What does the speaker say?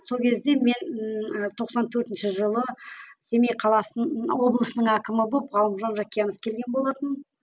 сол кезде мен ііі тоқсан төртінші жылы семей қаласын облыстың әкімі болып ғалымжан жақиянов келген болатын